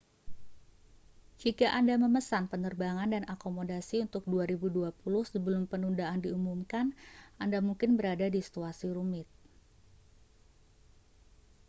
jika anda memesan penerbangan dan akomodasi untuk 2020 sebelum penundaan diumumkan anda mungkin berada di situasi rumit